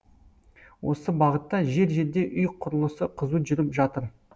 осы бағытта жер жерде үй құрлысы қызу жүріп жатыр